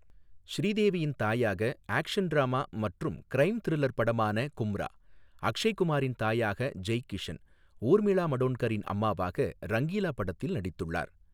ஸ்ரீதேவியின் தாயாக action drama மற்றும் க்ரைம் த்ரில்லர் படமான கும்ரா, அக்ஷய் குமாரின் தாயாக ஜெய் கிஷன், ஊர்மிளா மடோண்ட்கரின் அம்மாவாக ரங்கீலா படத்தில் நடித்துள்ளார்.